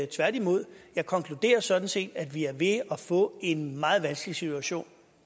tværtimod jeg konkluderer sådan set at vi er ved at få en meget vanskelig situation